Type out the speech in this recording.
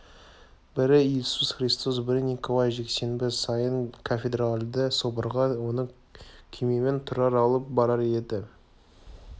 бірі иисус христос бірі николай жексенбі сайын кафедральды соборға оны күймемен тұрар алып барар еді жөні